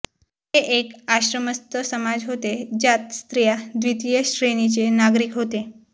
हे एक आश्रमस्थ समाज होते ज्यात स्त्रिया द्वितीय श्रेणीचे नागरिक होते